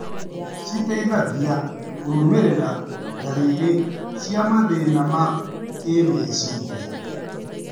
citeithagia kũrũmĩrĩra ndarĩrĩ cia mathĩna ma kĩmeciria.